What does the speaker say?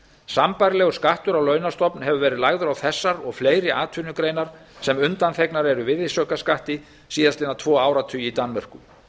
sambærilegur skattur á launastofn hefur verið lagður á þessar og fleiri atvinnugreinar sem undanþegnar eru virðisaukaskatti síðustu tvo áratugina í danmörku